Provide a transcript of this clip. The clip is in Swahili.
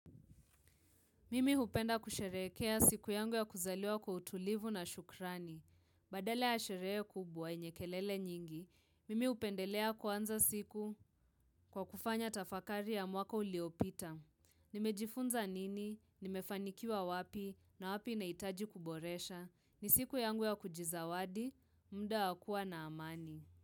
Mimi hupenda kusherekea siku yangu ya kuzaliwa kwa utulivu na shukrani. Badala ya sherehe kubwa yenye kelele nyingi. Mimi hupendelea kwanza siku kwa kufanya tafakari ya mwaka uliopita. Nimejifunza nini, nimefanikiwa wapi na wapi nahitaji kuboresha. Ni siku yangu ya kujizawadi, muda wa kuwa na amani.